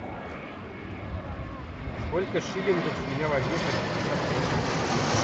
сколько шиллингов с меня возьмут за пятьдесят песо